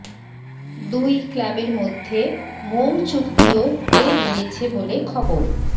দুই ক্লাবের মধ্যে মউ চুক্তিও হয়ে গিয়েছে বলে খবর